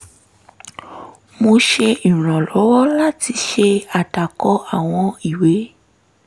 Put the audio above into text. mo ṣe ìrànlọ́wọ́ láti ṣe àdàkọ àwọn ìwé